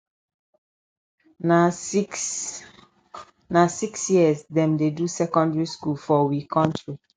na six na six years dem dey do secondary school for we country